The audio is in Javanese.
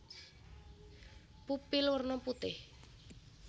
Pupil werna putih